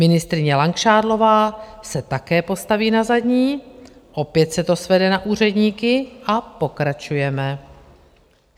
Ministryně Langšádlová se také postaví na zadní, opět se to svede na úředníky a pokračujeme.